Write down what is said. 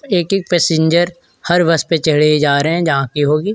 एक एक पैसेंजर हर बस पे चढ़े जारी है जहाँ की होगी।